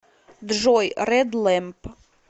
джой ред лэмп